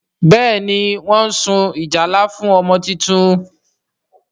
Béèni Wón so ìjálá fún ọmọ títún.